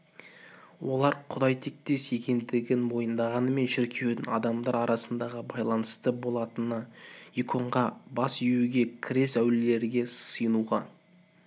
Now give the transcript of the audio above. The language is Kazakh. олар құдай тектес екендігін мойындағанымен шіркеудің адамдар арасындағы байланысшы болатынына иконға бас июге крест әулиелерге сиынуға